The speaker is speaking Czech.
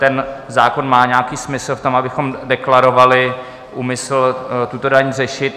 Ten zákon má nějaký smysl v tom, abychom deklarovali úmysl tuto daň řešit.